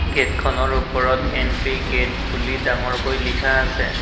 গেটখনৰ ওপৰত entry gate বুলি ডাঙৰ কৈ লিখা আছে।